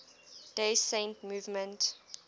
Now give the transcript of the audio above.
day saint movement